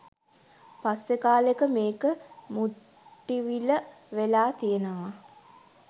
පස්සේ කාලෙක මේක “මුට්ටිවිල“ වෙලා තියෙනවා.